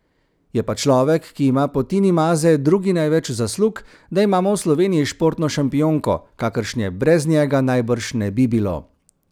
Je pa človek, ki ima po Tini Maze drugi največ zaslug, da imamo v Sloveniji športno šampionko, kakršne brez njega najbrž ne bi bilo.